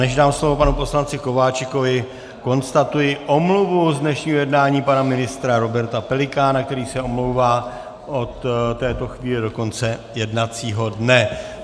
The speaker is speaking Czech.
Než dám slovo panu poslanci Kováčikovi, konstatuji omluvu z dnešního jednání pana ministra Roberta Pelikána, který se omlouvá od této chvíle do konce jednacího dne.